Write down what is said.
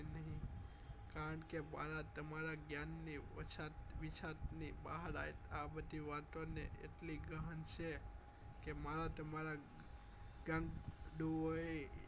કારણ કે મારા તમારા જ્ઞાન ની ઓછત વિછત ની બહાર લાયક આ બધી વાતો ને એટલી ગહન છે કે મારા તમારા ગાંડું એ